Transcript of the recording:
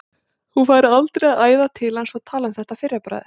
Hún færi aldrei að æða til hans og tala um þetta að fyrra bragði.